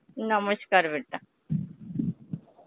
নমস্কার বেটা.